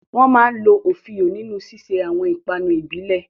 Wọ́n máa ń lo òfíò nínú ṣíṣe àwọn ìpanu ìbílẹ̀